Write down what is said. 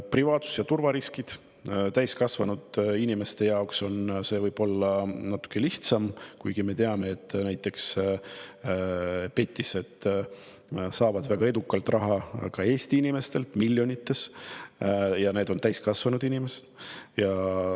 Privaatsus‑ ja turvariskid, mis täiskasvanud inimeste jaoks on võib-olla natuke lihtsamad, kuigi me teame, et näiteks petised saavad väga edukalt raha ka Eesti inimestelt, seda miljonites, ja need on täiskasvanud inimesed.